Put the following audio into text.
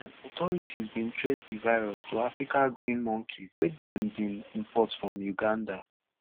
dat time authorities bin trace di virus to africa green monkey wey dem bin import from uganda